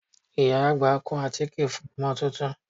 Ìyá àgbà kun àtíkè fún ọmọ tuntun